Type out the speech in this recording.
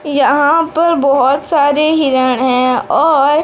यहां पर बहुत सारे हिरण हैं और--